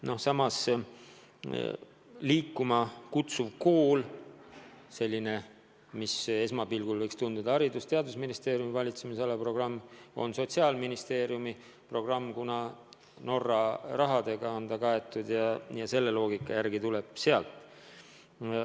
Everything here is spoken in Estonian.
Näiteks võib tunduda, et "Liikuma kutsuv kool" on Haridus- ja Teadusministeeriumi valitsemisala programm, aga on hoopis Sotsiaalministeeriumi programm, kuna on kaetud Norra rahaga.